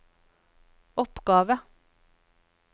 oppgave